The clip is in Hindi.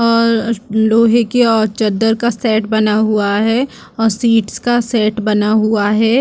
और लोहे की अ चद्दर का सेट बना हुआ है और सीट का सेट बना हुआ है।